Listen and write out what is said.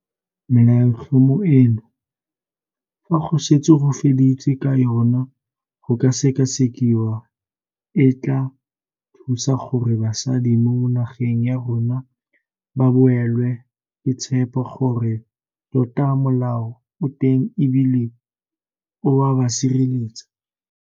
Melaotlhomo eno, fa go setse go feditswe ka yona go ka sekasekiwa, e tla thusa gore basadi mo nageng ya rona ba boelwe ke tshepo gore tota molao o teng e bile o a ba sireletsa.